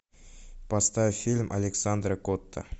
поставь фильм александра котта